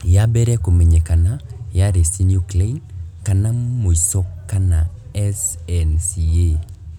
Ya mbere kũmenyekana yari synuclein ya mũico kana SNCA.